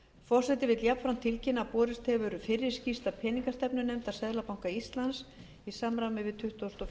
forseti vill jafnframt tilkynna að borist hefur fyrri skýrsla peningastefnunefndar seðlabanka íslands í samræmi